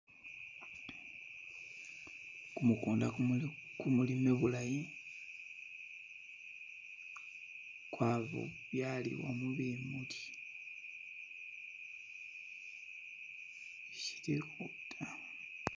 Kumukunda kumu kumuli kumulime bulaayi kwabyalibwamo bimuuli ,silikho ta.